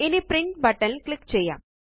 ഇനി print button ല് click ചെയ്യാം